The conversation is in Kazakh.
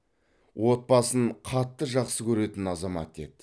отбасын қатты жақсы көретін азамат еді